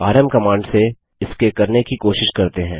RM command से इसके करने की कोशिश करते हैं